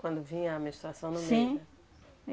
Quando vinha a menstruação... Sim... né?